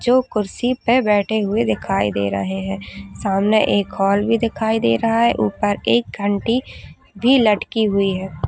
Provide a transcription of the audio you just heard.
जो कुर्सी पे बैठे हुए दिखाई दे रहे है सामने एक हॉल भी दिखाई दे रहा है ऊपर एक घंटी भी लटकी हुई है।